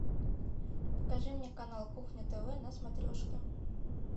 покажи мне канал кухня тв на смотрешке